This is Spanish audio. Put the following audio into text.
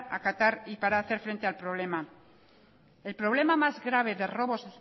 acatar y para hacer frente al problema el problema más grave de robos